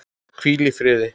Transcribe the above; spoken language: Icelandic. Hvíl í fríði.